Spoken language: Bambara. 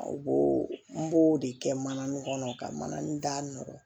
U b'o n b'o de kɛ mana nin kɔnɔ ka mana nin da nɔgɔ